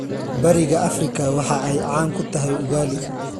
Bariga Afrika waxa ay caan ku tahay ugali.